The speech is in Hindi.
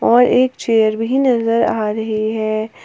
और एक चेयर भी नजर आ रही है।